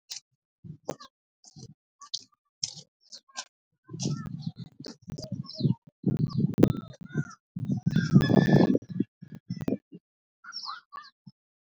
.